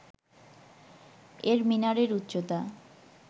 এর মিনারের উচ্চতা